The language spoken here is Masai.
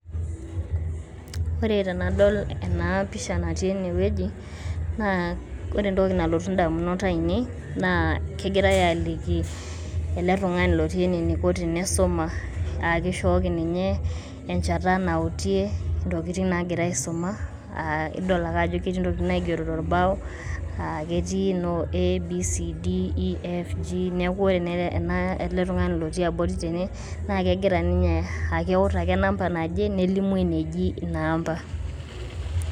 Ore tenadol ena pisha natii enewueji, naa ore entoki nalotu indamunot aainei naa kegirai aaliki ele tung'ani lotii ene eniko tenisuma aa ekishooki ninye enchata nautie intokitin naagira aisuma aa ake ajo ketii intokitin naigero torbao, aa ketii noo A,B,C,D E,F,G. Neeku ore ena, ele tung'ani lotii abori tene naa kegira niny'e aa keut ake namba nelimu eneji ina amba.